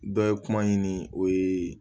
Dɔ ye kuma ɲini o ye